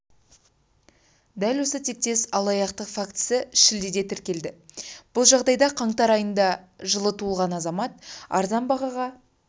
дәл осы тектес алаяқтық фактісі шілдеде тіркеледі бұл жағдайда қаңтар айында жылы туылған азамат арзан бағаға